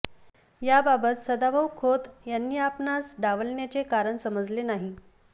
याबाबत सदाभाऊ खोत यांनी आपणास डावलण्याचे कारण समजले नाही